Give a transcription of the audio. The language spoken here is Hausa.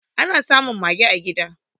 Ana samun mage a gida